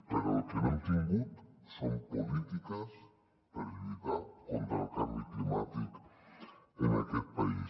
però el que no hem tingut són polítiques per lluitar contra el canvi climàtic en aquest país